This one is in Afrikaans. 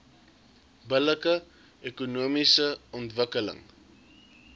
billike ekonomiese ontwikkeling